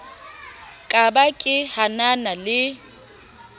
ka ba ke hanana le